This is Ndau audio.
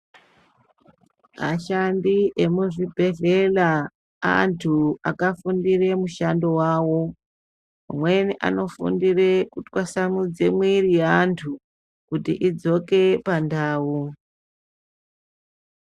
Ashandi emuzvibhedhlera antu akafundire mushando wawo amweni anofundire kutwasamudza mwiri yeantu kuti idzoke pandau .